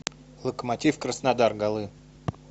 локомотив краснодар голы